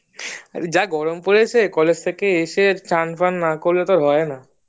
যা গরম পড়েছে College থেকে এসে স্নান ফান না করলে তো আর হয়না